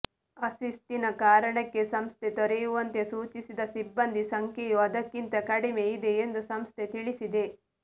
ಅಶಿಸ್ತಿನ ಕಾರಣಕ್ಕೆ ಸಂಸ್ಥೆ ತೊರೆಯುವಂತೆ ಸೂಚಿಸಿದ ಸಿಬ್ಬಂದಿ ಸಂಖ್ಯೆಯು ಅದಕ್ಕಿಂತ ಕಡಿಮೆ ಇದೆ ಎಂದು ಸಂಸ್ಥೆ ತಿಳಿಸಿದೆ